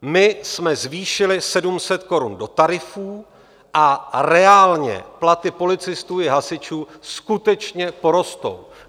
My jsme zvýšili 700 korun do tarifů a reálně platy policistů i hasičů skutečně porostou.